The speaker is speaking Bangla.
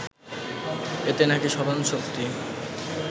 এতে নাকি স্মরণশক্তি